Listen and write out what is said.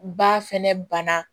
Ba fɛnɛ bana